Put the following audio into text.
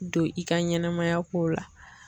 Don i ka ɲɛnɛmaya kow la.